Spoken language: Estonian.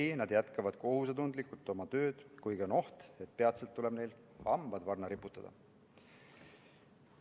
Ei, nad jätkavad kohusetundlikult oma tööd, kuigi on oht, et peatselt tuleb neil hambad varna riputada.